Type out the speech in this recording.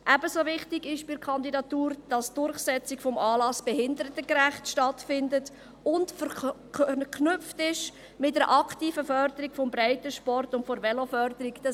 Ebenso wichtig ist bei der Kandidatur, dass die Durchführung des Anlasses behindertengerecht stattfindet und mit einer aktiven Förderung des Breitensports und der Veloförderung verknüpft ist.